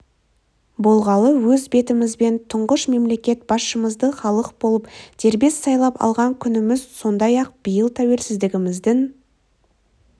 болғалы өз бетімізбен тұңғыш мемлекет басшымызды халық болып дербес сайлап алған күніміз сондай-ақ биыл тәуелсіздігіміздің